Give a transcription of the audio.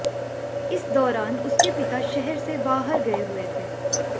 इस दौरान उसके पिता शहर से बाहर गये हुए थे